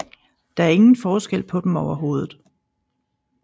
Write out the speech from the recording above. Der er ingen forskel på dem overhovedet